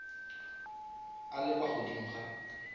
a le kwa godimo ga